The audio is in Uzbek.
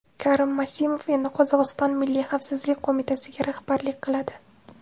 Karim Masimov endi Qozog‘iston Milliy xavfsizlik qo‘mitasiga rahbarlik qiladi.